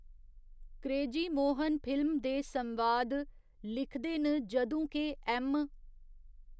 Crazy Mohan film दे संवाद लिखदे न जदूं के ऐम्म .